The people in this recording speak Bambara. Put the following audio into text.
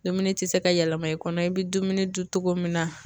Dumuni ti se ka yɛlɛma i kɔnɔ, i bi dumuni dun cogo min na